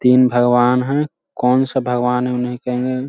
तीन भगवान हैं कौन-सा भगवान हैं उ मैं नहीं कहूंगा।